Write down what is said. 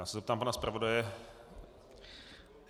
Já se zeptám pana zpravodaje.